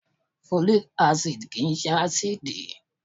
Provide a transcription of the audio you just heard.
Folic Acid kìí ṣe ásíìdì.